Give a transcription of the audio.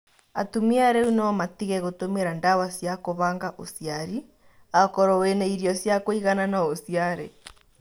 Atumia rĩu no matige gũtũmĩra ndawa cia kũbanga ũciari. akorwo wĩna irio cĩakũĩgana no ũciare